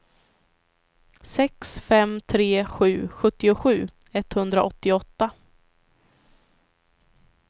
sex fem tre sju sjuttiosju etthundraåttioåtta